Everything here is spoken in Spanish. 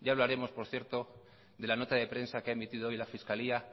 ya hablaremos por cierto de la nota de prensa que ha emitido hoy la fiscalía